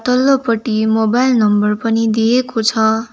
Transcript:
तल्लो पट्टि mobile number पनि दिएको छ।